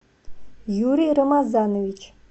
юрий рамазанович